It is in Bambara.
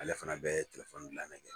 Ala fana de bɛ telefoni dilan de kɛ.